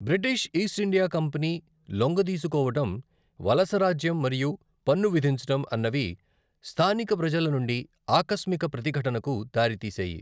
British East India company లొంగదీసుకోవడం, వలసరాజ్యం మరియు పన్ను విధించడం అన్నవి స్థానిక ప్రజల నుండి ఆకస్మిక ప్రతిఘటనకు దారితీశాయి.